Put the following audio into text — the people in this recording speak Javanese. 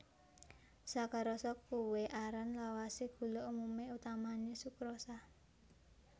Sakarosa kuwé aran lawasé gula umumé utamané sukrosa